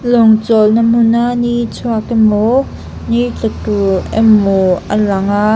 lawng chawlh na hmun a ni chhuak emaw ni tla tur emaw a lang a.